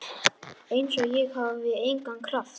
Einsog ég hafi engan kraft.